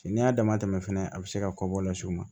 Cɛ n'i y'a dama tɛmɛ fɛnɛ a bɛ se ka kɔbɔ las'u ma